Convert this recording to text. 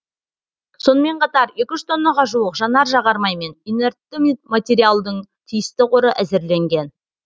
сонымен қатар екі жүз тоннаға жуық жанар жағармай мен инертті материалдың тиісті қоры әзірленген